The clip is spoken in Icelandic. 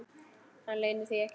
Hann leynir því ekki.